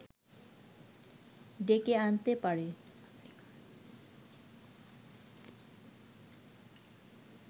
ডেকে আনতে পারে